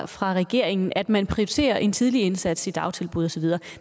fra regeringen at man prioriterer en tidlig indsats i dagtilbud og så videre